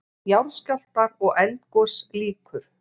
JARÐSKJÁLFTAR OG ELDGOS LÝKUR